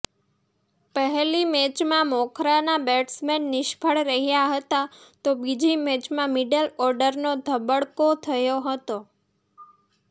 પહેલી મેચમાં મોખરાના બેટ્સમેન નિષ્ફળ રહ્યા હતા તો બીજી મેચમાં મિડલ ઓર્ડરનો ધબડકો થયો હતો